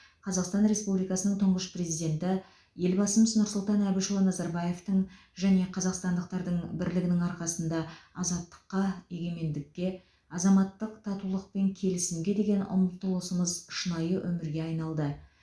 қазақстан республикасының тұңғыш президенті елбасы нұрсұлтан әбішұлы назарбаевтың және қазақстандықтардың бірлігінің арқасында азаттыққа егемендікке азаматтық татулық пен келісімге деген ұмтылысымыз шынайы өмірге айналды